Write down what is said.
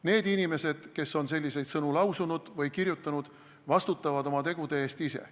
Need inimesed, kes on selliseid sõnu lausunud või kirjutanud, vastutavad oma tegude eest ise.